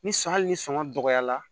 Ni hali ni sɔngɔ dɔgɔyara